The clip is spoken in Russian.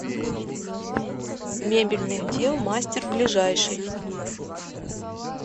мебельных дел мастер ближайший